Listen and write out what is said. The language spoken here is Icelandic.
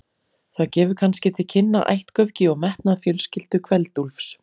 Það gefur kannski til kynna ættgöfgi og metnað fjölskyldu Kveld-Úlfs.